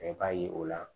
I b'a ye o la